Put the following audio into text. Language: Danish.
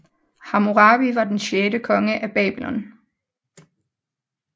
Hammurabi var den sjette konge af Babylon